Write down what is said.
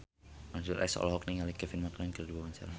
Mansyur S olohok ningali Kevin McNally keur diwawancara